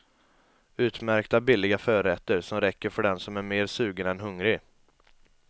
Utmärkta billiga förrätter som räcker för den som är mer sugen än hungrig.